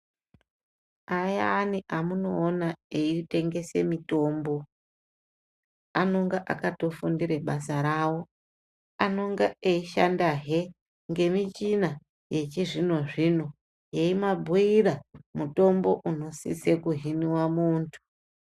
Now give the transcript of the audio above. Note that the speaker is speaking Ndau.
Ayani amunoona ei tengese mitombo anonga akato fundira basa rawo anonga eishanda he ngemi michina yechi zvino zvino yeimabhuira mutombo unosise kuhiniwa mundu.